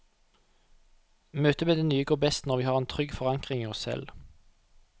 Møtet med det nye går best når vi har en trygg forankring i oss selv.